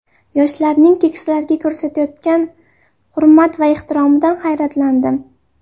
Yoshlarning keksalarga ko‘rsatayotgan hurmat va ehtiromidan hayratlandim.